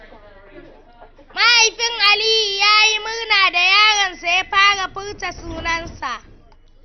Mahaifin Aliyu ya yi murna da yaron sa ya fara furta sunansa.